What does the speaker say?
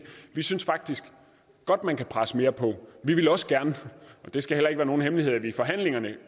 vi synes faktisk godt man kan presse mere på det skal heller ikke være nogen hemmelighed at vi i forhandlingerne